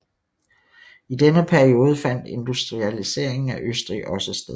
I denne periode fandt industrialiseringen af Østrig også sted